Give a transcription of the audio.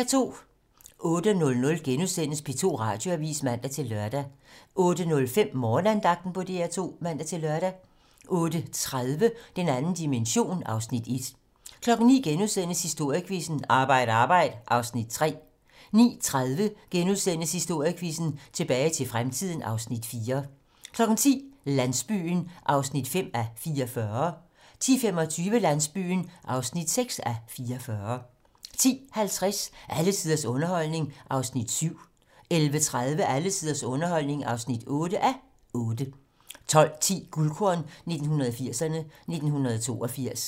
08:00: P2 Radioavis *(man-lør) 08:05: Morgenandagten på DR2 (man-lør) 08:30: Den 2. dimension (Afs. 1) 09:00: Historiequizzen: Arbejd arbejd (Afs. 3)* 09:30: Historiequizzen: Tilbage til fremtiden (Afs. 4)* 10:00: Landsbyen (5:44) 10:25: Landsbyen (6:44) 10:50: Alle tiders underholdning (7:8) 11:30: Alle tiders underholdning (8:8) 12:10: Guldkorn 1980'erne: 1982